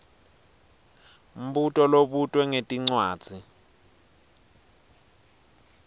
mbuto lobutwe ngetincwadzi